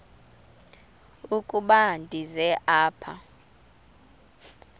ukuba ndize apha